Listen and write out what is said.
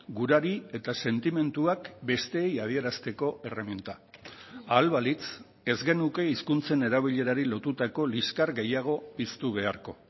gurari eta sentimenduak besteei adierazteko erreminta ahal balitz ez genuke hizkuntzen erabilerari lotutako liskar gehiago piztu beharko